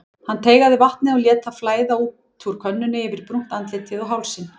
Hann teygaði vatnið og lét það flæða út úr könnunni yfir brúnt andlitið og hálsinn.